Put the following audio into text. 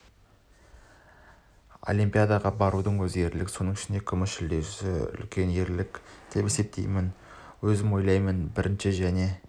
олимпиадаға барудың өзі ерлік соның ішінде күміс жүлдесін үлкен ерлік деп есептеймін өзім ойлаймын бірінші және